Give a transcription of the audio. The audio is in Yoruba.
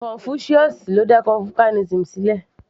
Confucius ni ó dá confucianism sílẹ̀